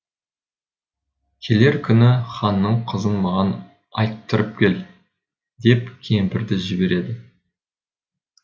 келер күні ханның қызын маған айттырып кел деп кемпірді жібереді